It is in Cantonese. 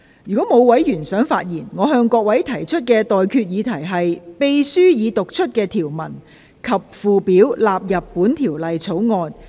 如果沒有委員想發言，我現在向各位提出的待決議題是：秘書已讀出的條文及附表納入本條例草案。